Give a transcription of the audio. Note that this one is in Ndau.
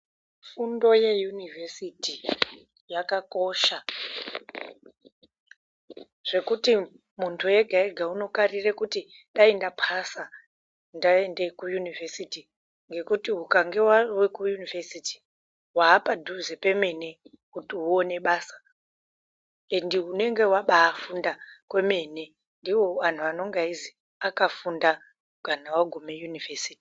Fundo yeyunivhesiti yakakosha zvekuti muntu ega-ega unokarire kuti dai ndapasa ndaende kuyunivhesiti ngekuti ukange wave kuyunivhesiti wapadhuze pemene kuti uone basa ende unenge wafunda kwemene ndiwo anonga eizi akafunda kana wagume yunivhesiti.